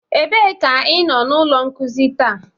Ebee ka ịnọ na ụlọ nkuzi taa?